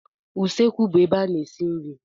Usekwu bụ ebe a na-esi nri.